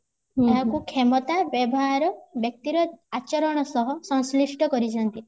ଏହାକୁ କ୍ଷମତା ବ୍ୟବହାର ବ୍ଯକ୍ତିର ଆଚରଣ ସହ ସଂଶ୍ଳିଷ୍ଠ କରିଛନ୍ତି